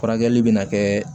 Furakɛli bɛ na kɛ